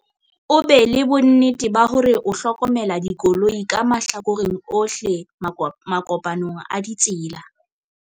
o be le bonnete ba hore o hlokomela dikoloi ka mahlakoreng ohle makopanong a ditsela